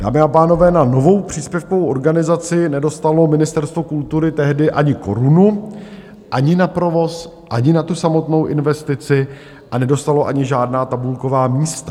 Dámy a pánové, na novou příspěvkovou organizaci nedostalo Ministerstvo kultury tehdy ani korunu - ani na provoz, ani na tu samotnou investici, a nedostalo ani žádná tabulková místa.